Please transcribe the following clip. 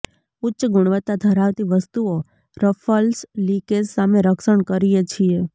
ઉચ્ચ ગુણવત્તા ધરાવતી વસ્તુઓ રફલ્સ લિકેજ સામે રક્ષણ કરીએ છીએ